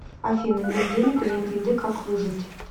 афина нет денег и нет еды как выжить